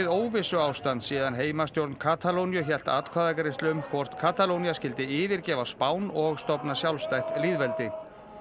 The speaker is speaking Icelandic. óvissuástand síðan heimastjórn Katalóníu hélt atkvæðagreiðslu um hvort Katalónía skyldi yfirgefa Spán og stofna sjálfstætt lýðveldi